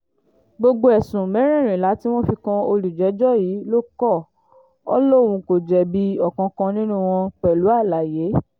gbogbo ẹ̀sùn mẹ́rẹ̀ẹ̀rìnlá tí wọ́n fi kan olùjẹ́jọ́ yìí ló kọ́ ọ lóun kò jẹ̀bi ọ̀kánkán nínú wọn pẹ̀lú àlàyé